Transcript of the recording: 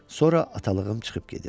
Sonra atalığım çıxıb gedir.